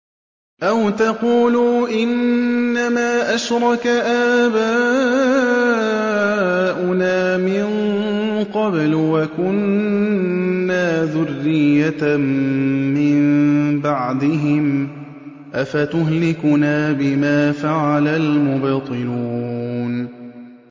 أَوْ تَقُولُوا إِنَّمَا أَشْرَكَ آبَاؤُنَا مِن قَبْلُ وَكُنَّا ذُرِّيَّةً مِّن بَعْدِهِمْ ۖ أَفَتُهْلِكُنَا بِمَا فَعَلَ الْمُبْطِلُونَ